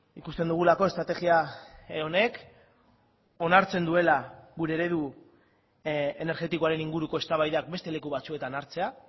ikusten dugulako estrategia honek onartzen duela gure eredu energetikoaren inguruko eztabaidak beste leku batzuetan hartzea